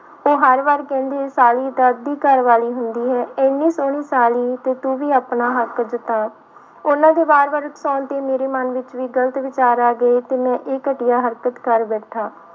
ਉਹ ਹਰ ਵਾਰ ਕਹਿੰਦੇ ਸਾਲੀ ਤਾਂ ਅੱਧੀ ਘਰਵਾਲੀ ਹੁੰਦੀ ਹੈ, ਇੰਨੀ ਸੋਹਣੀ ਸਾਲੀ ਤੇ ਤੁੁੰ ਵੀ ਆਪਣਾ ਹੱਕ ਜਤਾ, ਉਹਨਾਂ ਦੇ ਵਾਰ ਵਾਰ ਉਕਸਾਉਣ ਤੇ ਮੇਰੇ ਮਨ ਵਿੱਚ ਵੀ ਗ਼ਲਤ ਵਿਚਾਰ ਆ ਗਏ ਤੇ ਮੈਂ ਇਹ ਘਟੀਆ ਹਰਕਤ ਕਰ ਬੈਠਾ।